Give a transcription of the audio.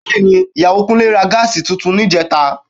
Bẹ́ẹ̀ni, Ìyàwó Kúnlé ra Gas tuntun níjẹta